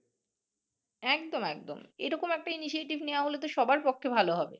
একদম একদম এরকম একটা initiative নেয়া হলে সবার পক্ষে ভাল হবে